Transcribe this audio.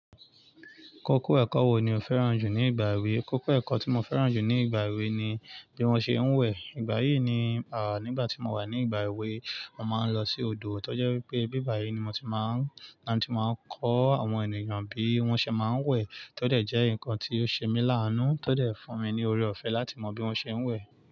Kókó ẹ̀kọ́ wo ni o fẹ́ràn jù ní ìgbà èwe? Kókó ẹ̀kọ́ tí mo fẹ́ràn jù ní ìgbà èwe ni bí wón ṣe ń wẹ̀. Ìgbà yìí ni, nígbà tí mo wà ní ìgbà èwe, mo máa ń lọ sí odò tó jẹ́ wípé ibíbà yìí ni mo ti máa ń, là ti máa ń kọ́ àwọn ènìyàn bí wón ṣe máa ń wẹ̀ tó dẹ̀ jẹ́ nǹkan tí ó ṣe mí láánú tó dẹ̀ fún mi ní ọrẹ-ọ̀fẹ́ láti mọ bí wón ṣe ń wẹ̀.